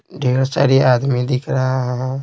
ढेर सारी आदमी दिख रहा है।